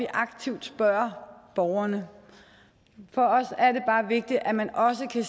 og aktivt spørger borgerne for os er det bare vigtigt at man også kan